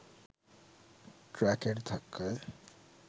ট্রাকের ধাক্কায়